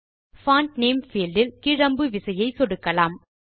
font name field இல் கீழ் அம்பு விசையை சொடுக்கலாம்